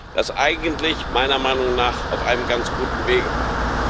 das eigentlich meiner Meinung nach auf einem ganz guten Weg war.